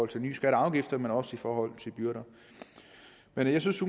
til nye skatter og afgifter men også i forhold til byrder men jeg synes